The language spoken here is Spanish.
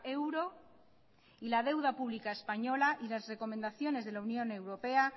euro y la deuda pública española y las recomendaciones de la unión europea